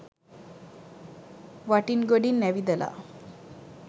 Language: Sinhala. වටින් ගොඩින් ඇවිදලා